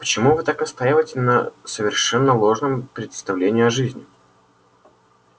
почему вы так настаиваете на совершенно ложном представлении о жизни